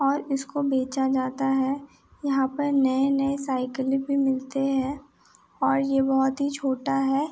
और इसको बेचा जाता है| यहां पर नए-नए साइकिल मिलते हैंऔर यह बहुत ही छोटा है|